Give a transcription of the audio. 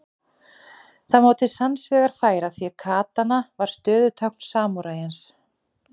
Það má til sanns vegar færa því katana var stöðutákn samúræjans.